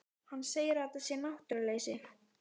Hann segir að þetta sé náttúruleysi.